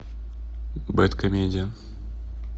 бэдкомедиан